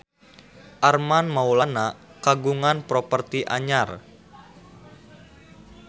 Armand Maulana kagungan properti anyar